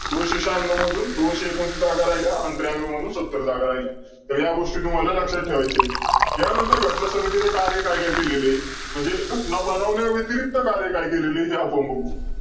त्या विहिरीला केवळ पावसाळ्यात पाणी असतं आणि नंतर जिवंत झरे नसल्याने जी विहीर कोरडी पडते अशा छोट्या विहिरीला बुडकी असं म्हटलं जातं सह्याद्रीच्या डोंगरांमध्ये असलेला आदिवासी भागात